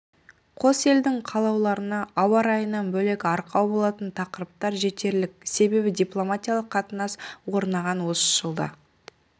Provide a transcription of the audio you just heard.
қос елдің қалаулыларына ауа райынан бөлек арқау болатын тақырыптар жетерлік себебі дипломатиялық қатынас орнаған осы жылда